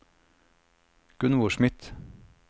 Gunvor Smith